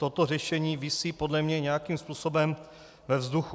Toto řešení visí podle mě nějakým způsobem ve vzduchu.